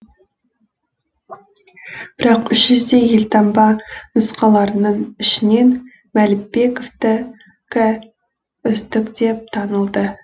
бірақ үш жүздей елтаңба нұсқаларының ішінен мәлібековтікі үздік деп танылды